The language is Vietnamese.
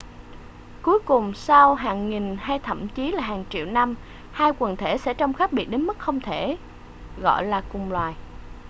cuối cùng sau hàng nghìn hay thậm chí là hàng triệu năm hai quần thể sẽ trông khác biệt đến mức không thể gọi là cùng loài